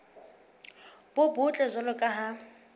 bo botle jwalo ka ha